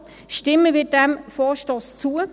– Stimmen wir diesem Vorstoss zu.